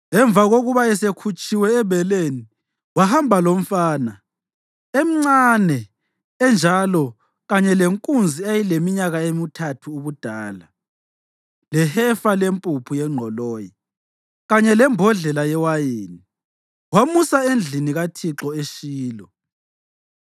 Emva kokuba esekhutshiwe ebeleni, wahamba lomfana, emncane enjalo kanye lenkunzi eyayileminyaka emithathu ubudala, lehefa lempuphu yengqoloyi kanye lembodlela yewayini, wamusa endlini kaThixo eShilo.